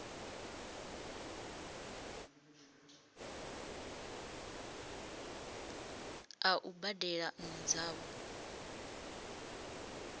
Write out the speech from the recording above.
a u badela nnu dzavho